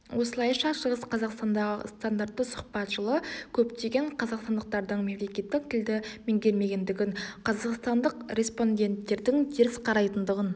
осылайша шығыс қазақстандағы стандартты сұхбат жылы көптеген қазақстандықтардың мемлекеттік тілді меңгермегендігін қазақстандық респонденттердң теріс қарайтындығын